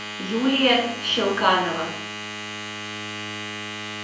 юлия щелканова